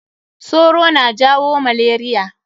Soro na jawo malaria.